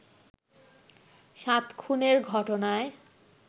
সাত খুনের ঘটনায়